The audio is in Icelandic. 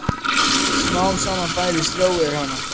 Smám saman færist ró yfir hana.